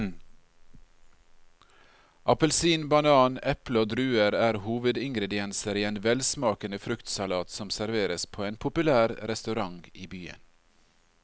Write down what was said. Appelsin, banan, eple og druer er hovedingredienser i en velsmakende fruktsalat som serveres på en populær restaurant i byen.